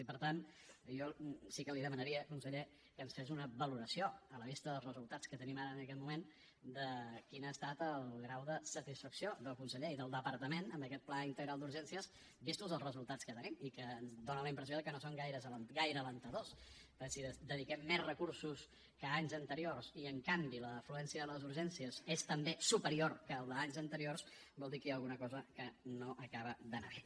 i per tant jo sí que li demanaria conseller que ens fes una valoració a la vista dels resultats que tenim ara en aquest moment de quin ha estat el grau de satisfacció del conseller i del departament amb aquest pla integral d’urgències vistos els resultats que tenim i que ens donen la impressió de que no són gaire encoratjadors perquè si dediquem més recursos que anys anteriors i en canvi l’afluència a les urgències és també superior que la d’anys anteriors vol dir que hi ha alguna cosa que no acaba d’anar bé